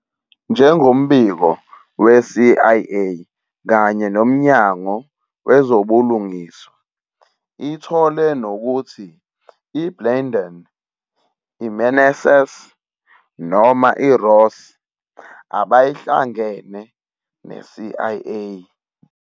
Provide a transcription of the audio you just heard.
Njengombiko we-CIA kanye noMnyango Wezobulungiswa, ithole nokuthi iBlandón, iMeneses, noma iRoss abayihlangene neCIA.